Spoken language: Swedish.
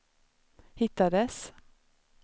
hittades